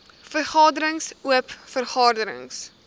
vergaderings oop vergaderings